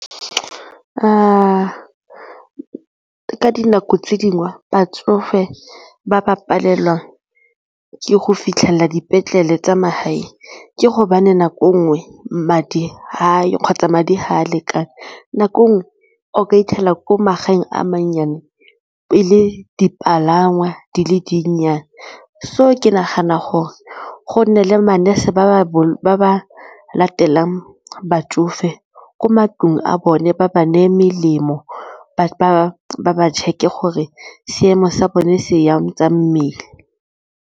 Ka dinako tse dingwe batsofe ba ba palelwang ke go fitlhelela dipetlele tsa magae ke gobane nako e nngwe madi ga ayo kgotsa madi ga a lekane nako nngwe o ka fitlhela ko magaeng a mannyane pele dipalangwa di le dinnyane so ke nagana gore go nne le ma-nurse ba ba latela batsofe ko matlong a bone ba ba neye melemo, ba check-e gore seemo sa bone se jang sa mmele.